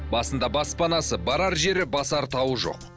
басында баспанасы барар жері басар тауы жоқ